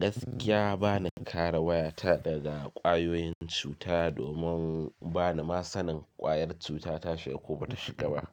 Gaskiya ba ni kara waya ta daga ƙwayoyin cuta domin ba ni ma sanin ƙwayar cuta ta shigo ko ba ta shiga ba.